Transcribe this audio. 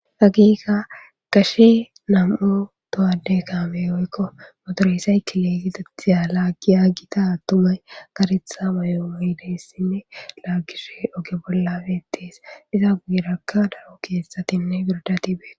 Akkeka,gashe nam''u towadde came woykko mottore cycle geetetiya lagiya Gita attumay kareththa mayo mayidayssine lagishe oge bollabeetees. iza guwerakka daro keththattine birddatti beetees.